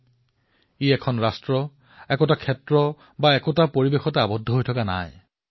ই ৰাষ্ট্ৰৰ সীমাতো আৱদ্ধ হৈ থকা নাই ইয়াৰ কোনো ক্ষেত্ৰ নাই নাই ইয়াৰ কোনো জলবায়ুৰ সীমা